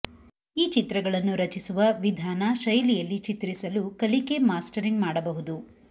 ಈ ಚಿತ್ರಗಳನ್ನು ರಚಿಸುವ ವಿಧಾನ ಶೈಲಿಯಲ್ಲಿ ಚಿತ್ರಿಸಲು ಕಲಿಕೆ ಮಾಸ್ಟರಿಂಗ್ ಮಾಡಬಹುದು